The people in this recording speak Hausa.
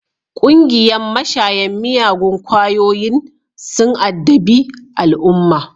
Ƙungiyan mashayan miyagun kwayoyin sun addabi al'umma